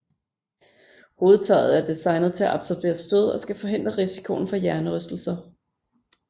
Hovedtøjet er designet til at absorbere stød og skal forhindre risikoen for hjernerystelser